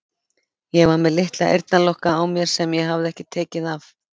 Ég var með litla eyrnalokka á mér sem ég hafði ekki tekið af.